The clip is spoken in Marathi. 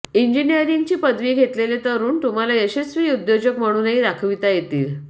इंजिनीअरिंग पदवी घेतलेले तरुण तुम्हाला यशस्वी उद्योजक म्हणूनही दाखविता येतील